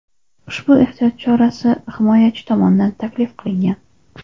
Ushbu ehtiyot chorasi himoyachi tomonidan taklif qilingan.